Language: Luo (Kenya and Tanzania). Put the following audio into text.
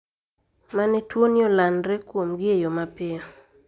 Mane tuoni olandre kuomgi e yo mapiyo